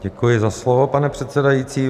Děkuji za slovo, pane předsedající.